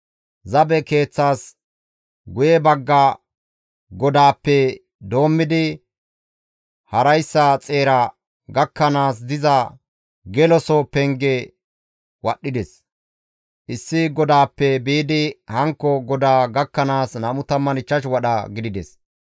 Zabe keeththas guye bagga godaappe doommidi harayssa xeera gakkanaas diza geloso penge wadhdhides; issi godaappe biidi hankko godaa gakkanaas 25 wadha gidides.